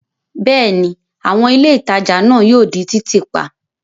Bẹ́ẹ̀ ni, àwọn ilé ìtajà náà yóò di títì pa.